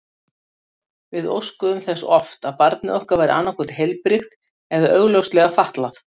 Við óskuðum þess oft að barnið okkar væri annað hvort heilbrigt eða augljóslega fatlað.